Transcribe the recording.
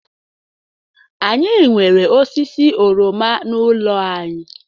Anyị nwere osisi oroma n'ụlọ anyị